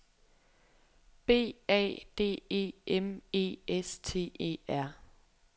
B A D E M E S T E R